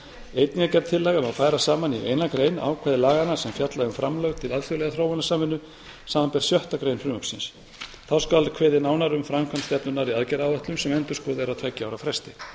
einnig er gerð tillaga um að færa saman í eina grein ákvæði laganna sem fjalla um framlög til alþjóðlegrar þróunarsamvinnu samanber sjöttu grein frumvarpsins þá skal kveðið nánar á um framkvæmd stefnunnar í aðgerðaáætlun sem endurskoðuð er á tveggja ára fresti